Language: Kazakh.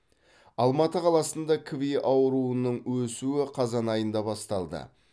алматы қаласында кви ауруының өсуі қазан айында басталды